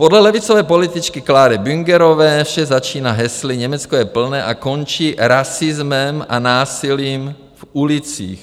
Podle levicové političky Clary Büngerové vše začíná hesly Německo je plné a končí rasismem a násilím v ulicích.